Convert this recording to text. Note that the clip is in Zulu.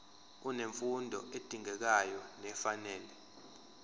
unemfundo edingekayo nefanele